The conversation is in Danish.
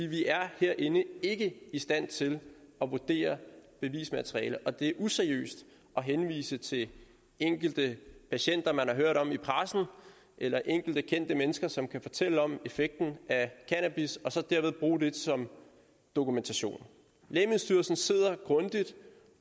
vi er herinde ikke i stand til at vurdere bevismaterialet og det er useriøst at henvise til enkelte patienter man har hørt om i pressen eller enkelte kendte mennesker som kan fortælle om effekten af cannabis og så derved bruge det som dokumentation lægemiddelstyrelsen sidder